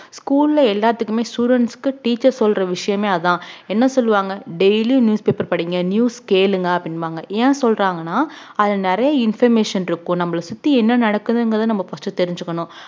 school ல எல்லாத்துக்குமே students க்கு teacher சொல்ற விஷயமே அதான் என்ன சொல்லுவாங்க daily newspaper படிங்க news கேளுங்க அப்படிம்பாங்க ஏன் சொல்றாங்கன்னா அது நிறைய information இருக்கும் நம்மள சுத்தி என்ன நடக்குதுங்கிறத நம்ம first உ தெரிஞ்சுக்கணும்